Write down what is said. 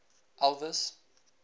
elvis